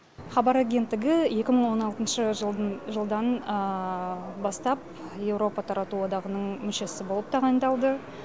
хабар агенттігі екі мың он алтыншы жылдан бастап еуропа тарату одағының мүшесі болып тағайындалды